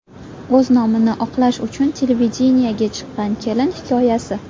O‘z nomini oqlash uchun televideniyega chiqqan kelin hikoyasi .